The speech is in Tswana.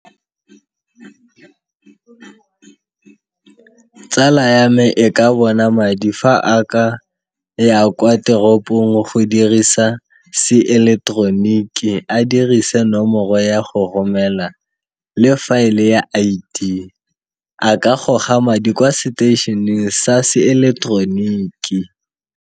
Tsala ya me e ka bona madi fa a ka ya kwa teropong go dirisa seileteroniki, a dirise nomoro ya go romela le fa e le ya I_D a ka goga madi kwa seteišeneng sa seileteroniki.